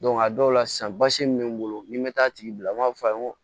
a dɔw la sisan basi min bɛ n bolo ni n bɛ taa a tigi bila n b'a fɔ a ye n ko